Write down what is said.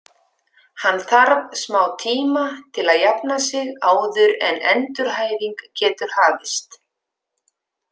Hann þarf smá tíma til að jafna sig áður en endurhæfing getur hafist.